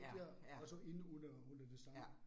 Ja, ja. Ja